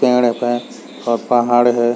पेड़ है पे और पहाड़ है।